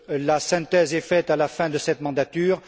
La synthèse est faite à la fin de cette mandature.